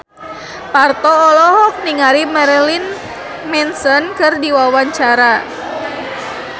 Parto olohok ningali Marilyn Manson keur diwawancara